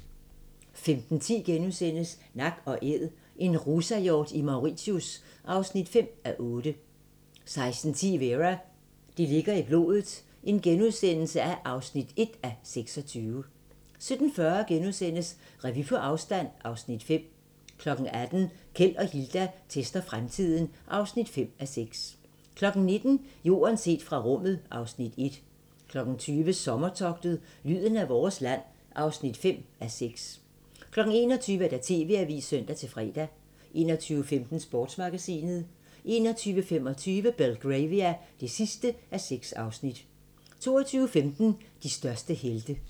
15:10: Nak & Æd - en rusahjort i Mauritius (5:8)* 16:10: Vera: Det ligger i blodet (1:26)* 17:40: Revy på afstand (Afs. 5)* 18:00: Keld og Hilda tester fremtiden (5:6) 19:00: Jorden set fra rummet (Afs. 1) 20:00: Sommertogtet – lyden af vores land (5:6) 21:00: TV-avisen (søn-fre) 21:15: Sportsmagasinet 21:25: Belgravia (6:6) 22:15: De største helte